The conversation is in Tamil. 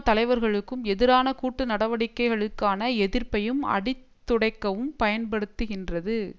தலைவர்களுக்கும் எதிரான கூட்டு நடவடிக்கைகளுக்கான எதிர்ப்பையும் அடித் துடைக்கவும் பயன்படுத்துகின்றது